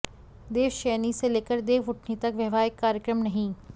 देवशयनी से लेकर देवउठनी तक वैवाहिक कार्यक्रम नहीं